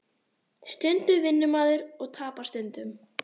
Stundum vinnur maður og tapar stundum